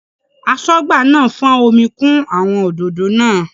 Aṣọ́gbà náà fọ́n omi kún àwọn òdòdó náà.